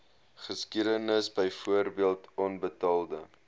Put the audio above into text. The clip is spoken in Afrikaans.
geskiedenis byvoorbeeld onbetaalde